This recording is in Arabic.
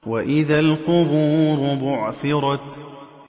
وَإِذَا الْقُبُورُ بُعْثِرَتْ